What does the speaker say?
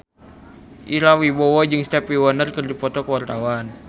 Ira Wibowo jeung Stevie Wonder keur dipoto ku wartawan